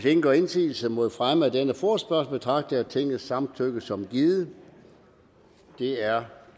ingen gør indsigelse mod fremme af denne forespørgsel betragter jeg tingets samtykke som givet det er